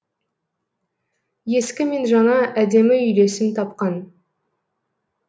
ескі мен жаңа әдемі үйлесім тапқан